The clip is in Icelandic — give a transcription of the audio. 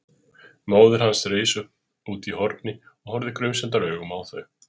Móðir hans reis upp útí horni og horfði grunsemdaraugum á þau.